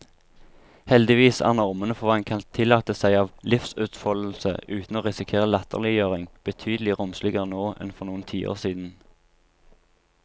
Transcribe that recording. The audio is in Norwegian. Heldigvis er normene for hva en kan tillate seg av livsutfoldelse uten å risikere latterliggjøring, betydelig romsligere nå enn for noen tiår siden.